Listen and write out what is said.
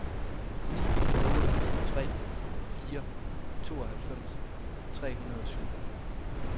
ni otte tre fire tooghalvfems tre hundrede og syv